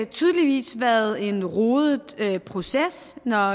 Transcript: tydeligvis været en rodet proces når